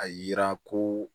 A yira ko